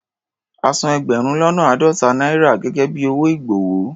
A san ẹgbẹ̀rún lọ́nà àádọ́ta náírà gẹ́gẹ́ bí owó ìgbọ̀wọ́.